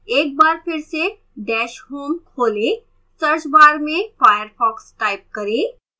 एक bar फिर से dash home खोलें search bar में firefox type करें